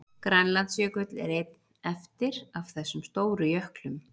Grænlandsjökull er einn eftir af þessum stóru jöklum.